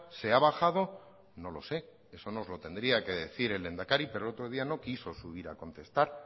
se ha bajado no lo sé eso nos lo tendría que decir el lehendakari pero el otro día no quiso subir a contestar